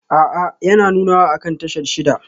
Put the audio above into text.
A'a yana nunawa akan tashar shida